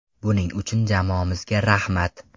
Buning uchun jamoamizga rahmat.